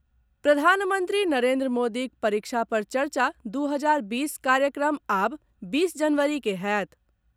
प्रधानमन्त्री नरेन्द्र मोदीक परीक्षा पर चर्चा दू हजार बीस कार्यक्रम आब बीस जनवरीकेँ होयत।